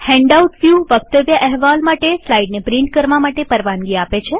handout વ્યુવક્તવ્ય અહેવાલ માટે સ્લાઈડ્સને પ્રિન્ટ એટલેકે છાપવા માટે પરવાનગી આપે છે